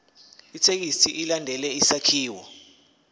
ithekisthi ilandele isakhiwo